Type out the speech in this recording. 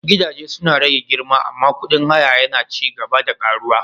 Gidaje suna rage girma amma kudin haya yana ci gaba da ƙaruwa.